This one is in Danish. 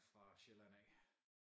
Fra Sjælland af